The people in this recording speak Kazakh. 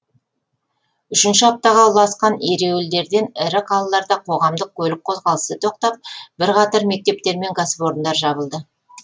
үшінші аптаға ұласқан ереуілдерден ірі қалаларда қоғамдық көлік қозғалысы тоқтап бірқатар мектептер мен кәсіпорындар жабылды